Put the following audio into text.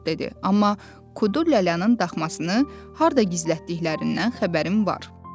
Amma Kudu lələnin daxmasını harda gizlətdiklərindən xəbərim var.